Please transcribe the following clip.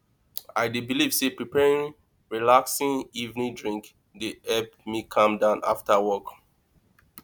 i dey believe say preparing relaxing evening drink dey help me calm down after work